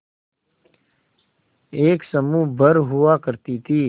एक समूह भर हुआ करती थी